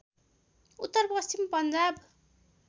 उत्तर पश्चिम पन्जाब